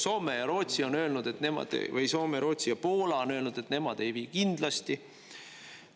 Soome ja Rootsi on öelnud või Soome, Rootsi ja Poola on öelnud, et nemad ei vii kindlasti.